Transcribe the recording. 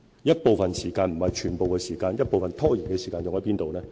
一部分時間、不是全部時間，一部分拖延的時間用在甚麼地方？